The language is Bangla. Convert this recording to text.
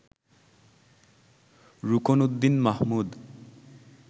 রুকনউদ্দীন মাহমুদ